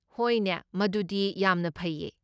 ꯍꯣꯏꯅꯦ, ꯃꯗꯨꯗꯤ ꯌꯥꯝꯅ ꯐꯩꯌꯦ꯫